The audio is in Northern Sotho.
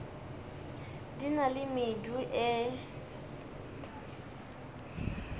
di na le medu e